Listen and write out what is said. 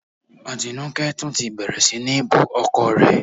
Atinúkẹ́ tún ti bẹ̀rẹ̀ sí ní bú ọkọ rẹ